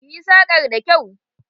Ki yi sakar da kyau!